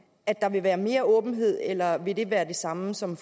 at der vil være mere åbenhed eller vil det være det samme som